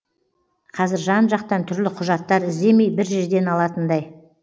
қазір жан жақтан түрлі құжаттар іздемей бір жерден алатындай